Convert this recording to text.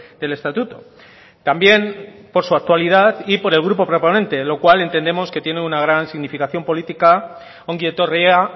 del estatuto también por su actualidad y por el grupo proponente lo cual entendemos que tiene una gran significación política ongi etorria